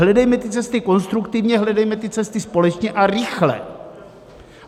Hledejme ty cesty konstruktivně, hledejme ty cesty společně a rychle.